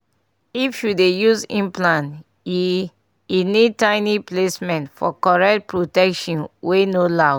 if u dey use implant e e need tiny placement for correct protection wey no loud